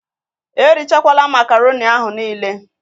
Erichakwala makaroni ahụ nịịle!